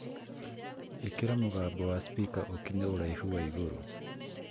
ikira mugambo wa spika ukinye ũraihu wa igũrũ